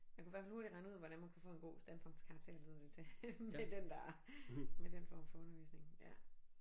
Man kunne hvert fald hurtigt regne ud hvordan man kunne få en god standpunktskarakter lyder det til med den der med den form for undervisning ja